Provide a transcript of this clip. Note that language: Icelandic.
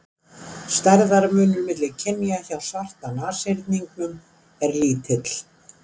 Stærðarmunur milli kynja hjá svarta nashyrningnum er lítill.